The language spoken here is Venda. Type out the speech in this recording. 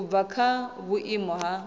u bva kha vhuimo ha